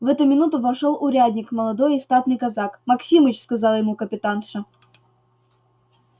в эту минуту вошёл урядник молодой и статный казак максимыч сказала ему капитанша